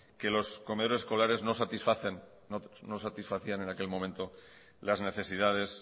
que los comedores escolares no satisfacían en aquel momento las necesidades